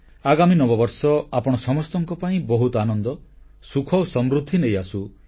ଆଗାମୀ ନବବର୍ଷ ଆପଣ ସମସ୍ତଙ୍କ ପାଇଁ ବହୁତ ଆନନ୍ଦ ସୁଖ ଓ ସମୃଦ୍ଧି ନେଇଆସୁ